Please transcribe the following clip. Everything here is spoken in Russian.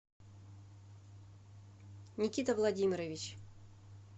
никита владимирович